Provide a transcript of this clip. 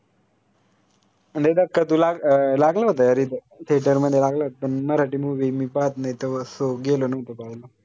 दे धक्का two लाग अं लागलं होत Theater मध्ये लागलं होत पन मराठी movie मी पाहत नाई तो so गेलो नव्हतो पावाला